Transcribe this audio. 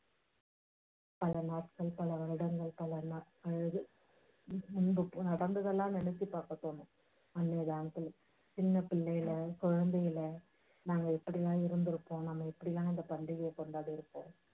பல நாட்கள் பல வருடங்கள், பல நடந்ததெல்லாம் நினைச்சு பாக்க தோணும். அன்னைய தினத்துல சின்ன பிள்ளையில, குழந்தையில நாம எப்படில்லாம் இருந்திருக்போம்? எப்படில்லாம் இந்த பாண்டிகையை கொண்டாடி இருக்போம்.